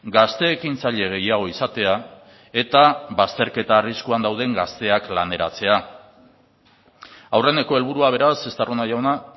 gazte ekintzaile gehiago izatea eta bazterketa arriskuan dauden gazteak laneratzea aurreneko helburua beraz estarrona jauna